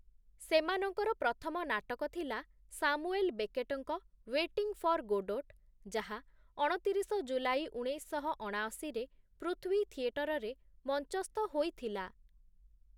ସେମାନଙ୍କର ପ୍ରଥମ ନାଟକ ଥିଲା ସାମୁଏଲ୍ ବେକେଟ୍ ଙ୍କ ୱେଟିଂ ଫର୍ ଗୋଡୋଟ୍, ଯାହା ଅଣତିରିଶ ଜୁଲାଇ ଉଣେଇଶଶହ ଅଣାଅଶୀ ରେ ପୃଥ୍ୱୀ ଥିଏଟରରେ ମଞ୍ଚସ୍ଥ ହୋଇଥିଲା ।